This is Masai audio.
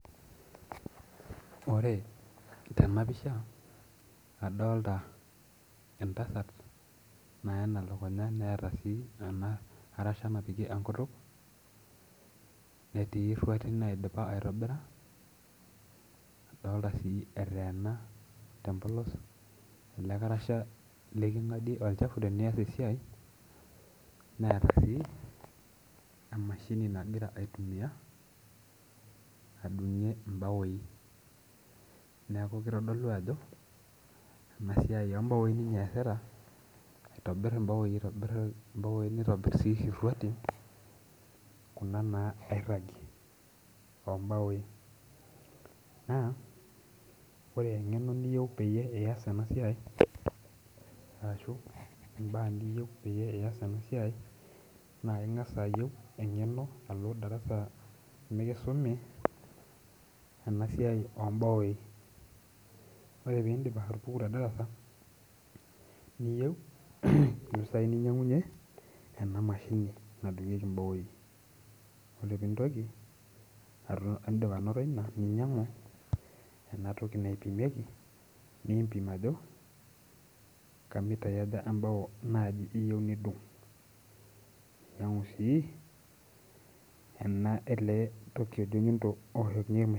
Ore tena pisha adolta entasat nayena elukunya neeta sii ena arasha napiki enkutuk netii irruati naidipa aitobira adolta sii eteena tempolos ele karasha leking'adie olchafu teniyas esiai neeta sii emashini nagira aitumia adung'ie imbaoi neeku kitodolu ajo ena siai ombaoi ninye eesita aitobirr imbaoi aitobirr imbaoi nitobirr sii irruatin kuna naa nairragi ombaoi naa ore eng'eno niyieu peyie iyas ena siai arashu imbaa niyieu peyie iyas ena siai naa keng'as ayieu eng'eno alo darasa mikisumi ena siai ombaoi ore pindip atupuku te darasa niyieu impisai ninyiang'unyie ena mashini nadung'ieki imbaoi ore pintoki ato indip anoto ina ninyiang'u enatoki naipimieki niimpim ajo kamitai aja embao naaji iyieu nidung ninyiang'u sii ena ele toki ojo nyundo owoshokinyieki.